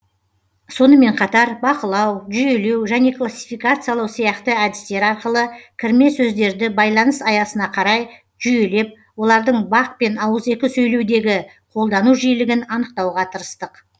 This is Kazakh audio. сонымен қатар бақылау жүйелеу және классификациялау сияқты әдістер арқылы кірме сөздерді байланыс аясына қарай жүйелеп олардың бақ пен ауызекі сөйлеудегі қолдану жиілігін анықтауға тырыстық